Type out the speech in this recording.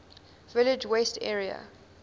village west area